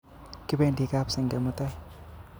Kipendi kap senge mutai